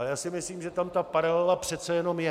A já si myslím, že tam ta paralela přece jenom je.